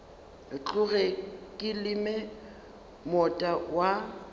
tloge ke leme moota wa